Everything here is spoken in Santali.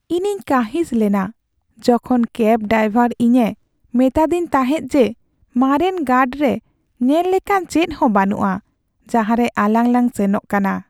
ᱤᱧᱤᱧ ᱠᱟᱺᱦᱤᱥ ᱞᱮᱱᱟ ᱡᱚᱠᱷᱚᱱ ᱠᱮᱵᱽ ᱰᱟᱭᱵᱚᱨ ᱤᱧᱮ ᱢᱮᱛᱟᱫᱤᱧ ᱛᱟᱦᱮᱸᱫ ᱡᱮ ᱢᱟᱨᱮᱱ ᱜᱟᱲᱨᱮ ᱧᱮᱞ ᱞᱮᱠᱟᱱ ᱪᱮᱫᱦᱚᱸ ᱵᱟᱹᱱᱩᱜᱼᱟ, ᱡᱟᱦᱟᱸᱨᱮ ᱟᱞᱟᱝ ᱞᱟᱝ ᱥᱮᱱᱚᱜ ᱠᱟᱱᱟ ᱾᱾